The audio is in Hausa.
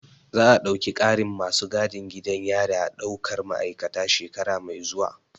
Za a ɗauki ƙarin masu gadin gidan yari a ɗaukar ma'aikata shekara mai zuwa